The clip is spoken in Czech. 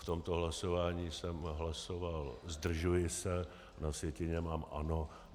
V tomto hlasování jsem hlasoval zdržuji se, na sjetině mám ano.